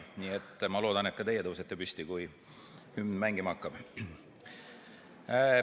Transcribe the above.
Nii et ma loodan, et ka teie tõusete püsti, kui hümn mängima hakkab.